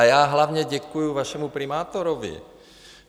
A já hlavně děkuji vašemu primátorovi.